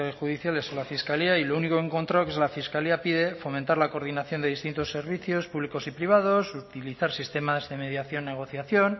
judiciales o la fiscalía y lo único que he encontrado que es la fiscalía pide fomentar la coordinación de distintos servicios públicos y privados utilizar sistemas de mediación negociación